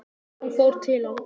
Hún fór til hans.